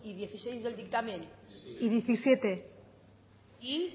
dieciséis del dictamen y diecisiete y